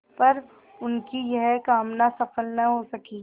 पर उनकी यह कामना सफल न हो सकी